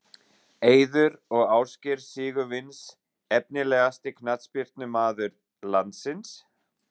Eiður og Ásgeir Sigurvins Efnilegasti knattspyrnumaður landsins?